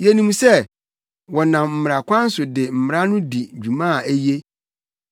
Yenim sɛ, sɛ wɔnam mmara kwan so de Mmara no di dwuma a eye.